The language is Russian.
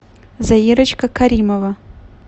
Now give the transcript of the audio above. заирочка каримова